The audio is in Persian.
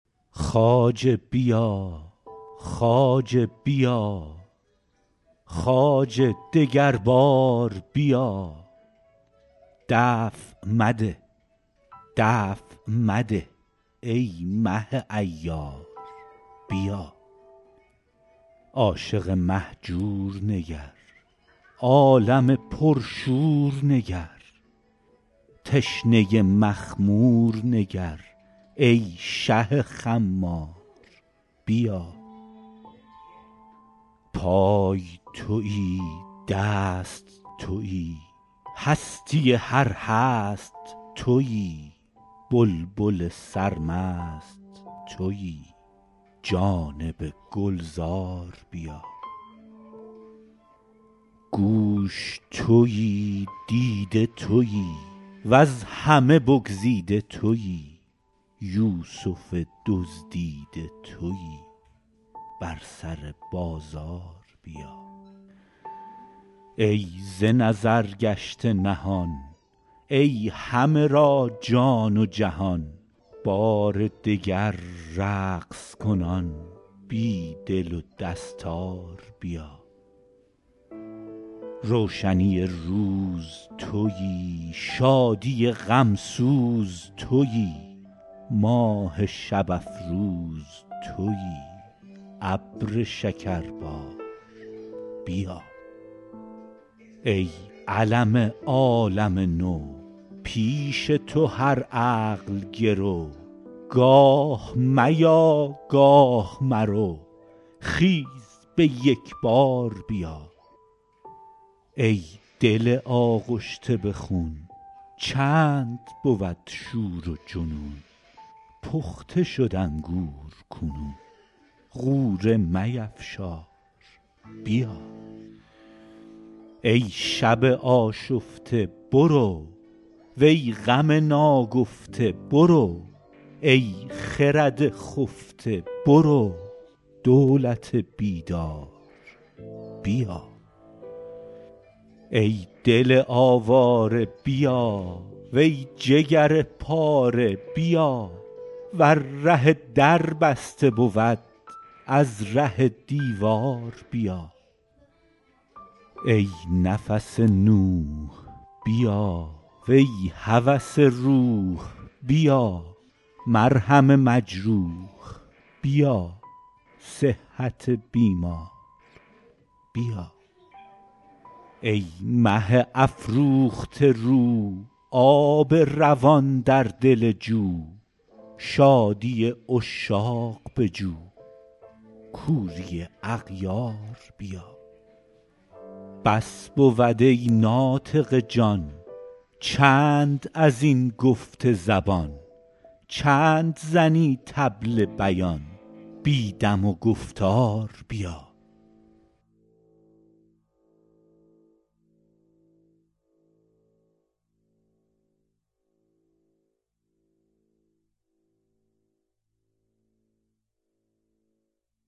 خواجه بیا خواجه بیا خواجه دگر بار بیا دفع مده دفع مده ای مه عیار بیا عاشق مهجور نگر عالم پرشور نگر تشنه مخمور نگر ای شه خمار بیا پای توی دست توی هستی هر هست توی بلبل سرمست توی جانب گلزار بیا گوش توی دیده توی وز همه بگزیده توی یوسف دزدیده توی بر سر بازار بیا ای ز نظر گشته نهان ای همه را جان و جهان بار دگر رقص کنان بی دل و دستار بیا روشنی روز توی شادی غم سوز توی ماه شب افروز توی ابر شکربار بیا ای علم عالم نو پیش تو هر عقل گرو گاه میا گاه مرو خیز به یک بار بیا ای دل آغشته به خون چند بود شور و جنون پخته شد انگور کنون غوره میفشار بیا ای شب آشفته برو وی غم ناگفته برو ای خرد خفته برو دولت بیدار بیا ای دل آواره بیا وی جگر پاره بیا ور ره در بسته بود از ره دیوار بیا ای نفس نوح بیا وی هوس روح بیا مرهم مجروح بیا صحت بیمار بیا ای مه افروخته رو آب روان در دل جو شادی عشاق بجو کوری اغیار بیا بس بود ای ناطق جان چند از این گفت زبان چند زنی طبل بیان بی دم و گفتار بیا